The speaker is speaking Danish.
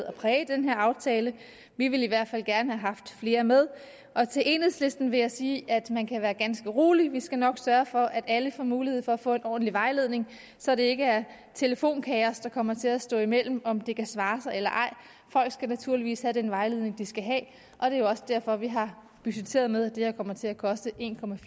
at præge den her aftale vi ville i hvert fald gerne have haft flere med til enhedslisten vil jeg sige at man kan være ganske rolig vi skal nok sørge for at alle får mulighed for at få ordentlig vejledning så det ikke er telefonkaos der kommer til at stå imellem i om det kan svare sig eller ej folk skal naturligvis have den vejledning de skal have og det er jo også derfor vi har budgetteret med at det her kommer til at koste en